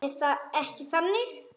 Er það ekki þannig?